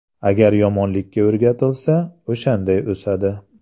Agar yomonlikka o‘rgatilsa, o‘shanday o‘sadi.